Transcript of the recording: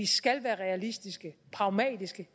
skal være realistiske pragmatiske